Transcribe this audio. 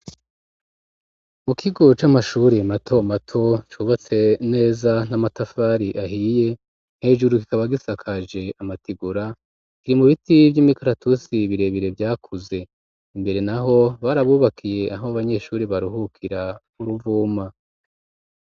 Mu kigo c'amashure mato mato cubatse neza n'amatafari ahiye hejuru kikaba gisakaje amatigura, ibiti vy'imikaratusi birebire vyakuze imbere naho barabubakiye aho abanyeshure baruhukira uruvuma.